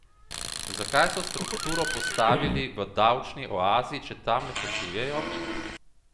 Zakaj so strukturo postavili v davčni oazi, če tam ne poslujejo?